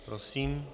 Prosím.